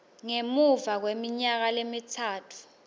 ngemuva kweminyaka lemitsatfu